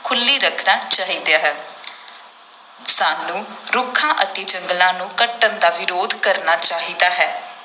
ਖੁੱਲ੍ਹੀ ਰੱਖਣਾ ਚਾਹੀਦਾ ਹੈ ਸਾਨੂੰ ਰੁੱਖਾਂ ਅਤੇ ਜੰਗਲਾਂ ਨੂੰ ਕੱਟਣ ਦਾ ਵਿਰੋਧ ਕਰਨਾ ਚਾਹੀਦਾ ਹੈ।